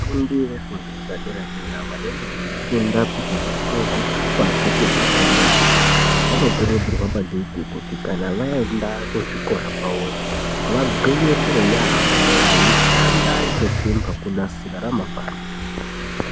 Vafundi vefundo yepadera vanenge veifunda kuti vapuwe zvitupa zvefundo yepadera vanokurudzirwa maningi kuti kana vaenda kuzvikorayo kwavoyo vagwinyisire yaamho veishanda kunasire ramangwana ravo.